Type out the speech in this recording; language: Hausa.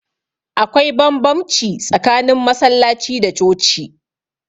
Akwai banbamci tsakanin masallaci da coci